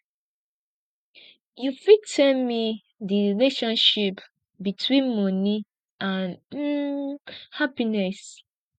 you fit tell me di relationship between money and um happiness